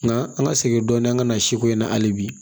Nka an ka segin dɔɔnin an ka na si ko in na hali bi